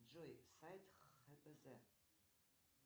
джой сайт хпз